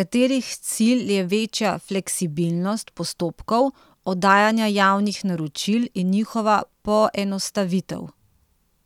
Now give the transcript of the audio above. katerih cilj je večja fleksibilnost postopkov oddajanja javnih naročil in njihova poenostavitev.